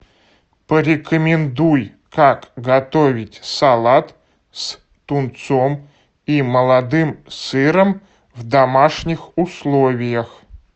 порекомендуй как готовить салат с тунцом и молодым сыром в домашних условиях